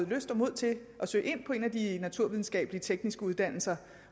lyst og mod til at søge ind på en af de naturvidenskabelige tekniske uddannelser